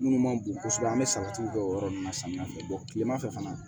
Minnu man bon kosɛbɛ an bɛ salati don o yɔrɔ ninnu na samiyɛ fɛ tilema fɛ fana